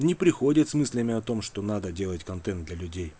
не приходят с мыслями о том что надо делать контент для людей